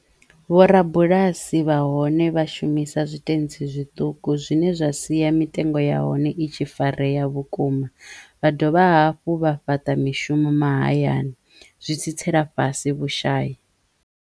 Vhorabulasi vha hone vha shumisa zwitentsi zwiṱuku zwine zwa siya mitengo ya hone i tshi fareya vhukuma vha dovha hafhu vha fhaṱa mishumo mahayani zwi tsitsela fhasi vhushayi.